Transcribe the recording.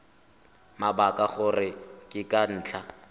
mabaka gore ke ka ntlha